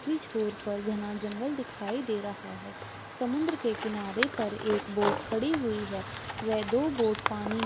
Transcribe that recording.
आखरी छोर पर घना जंगल दिखाई दे रहा है | समुन्दर के किनारे पर एक बोट खड़ी हुई है व दो बोट पानी --